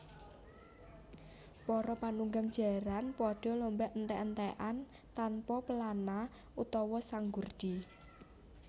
Para panunggang jaran pada lomba entèk entèkan tanpa pelana utawa sanggurdi